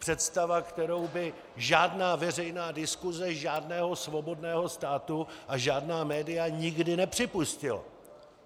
Představa, kterou by žádná veřejná diskuse žádného svobodného státu a žádná média nikdy nepřipustila.